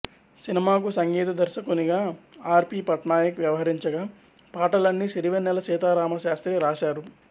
సినిమాకు సంగీత దర్శకునిగా ఆర్ పి పట్నాయక్ వ్యవహరించగా పాటలన్నీ సిరివెన్నెల సీతారామశాస్త్రి రాశారు